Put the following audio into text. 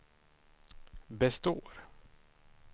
består